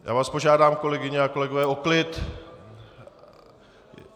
Já vás požádám, kolegyně a kolegové o klid!